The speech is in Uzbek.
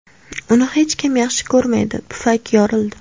Uni hech kim yaxshi ko‘rmaydi, pufak yorildi.